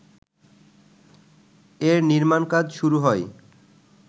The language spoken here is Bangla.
এর নির্মাণকাজ শুরু হয়